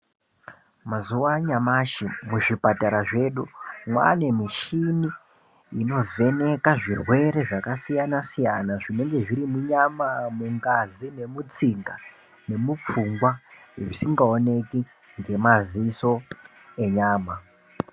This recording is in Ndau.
Mazuwa anyamashi muzvipatara zvedu mwaane mishini inovheneka zvirwere zvakasiyana siyana zvinenge zviri munyama mungazi nemutsinga nemupfungwa zvisingaoneki ngemaziso enyama.